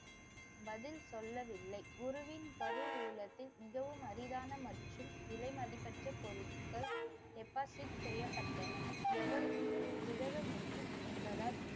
பதில் சொல்லவில்லை. குருவின் கருவூலத்தில் மிகவும் அரிதான மற்றும் விலைமதிப்பற்ற பொருள்கள் deposit செய்யப்பட்டுள்ளன. எவருக்கும் உதவ முடியும் என்பதால்